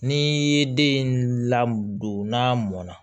Ni ye den lamɔ n'a mɔn na